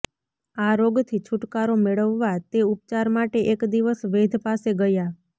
આ રોગથી છુટકારો મેળવવા તે ઉપચાર માટે એક દિવસ વૈધ પાસે ગયા